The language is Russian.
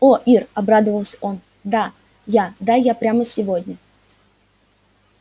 о ир обрадовался он да я да я прямо сегодня